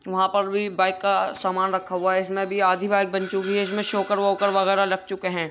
वहाँ पर भी बाइक का सामान रखा हुआ है। इसमे भी आधी बाइक बन चुकी है। इसमे सॉकर वॉकर वगैरह लग चुके हैं।